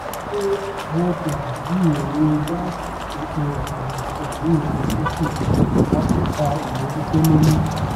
ní ọwó kejì bí owó gáàsì epo àtàwọn nǹkan míì ń lọ sókè àtọka ìmojútó ló mú